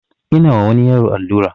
Ina wa wani yaro allura